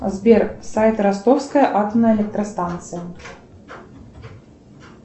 сбер сайт ростовская атомная электростанция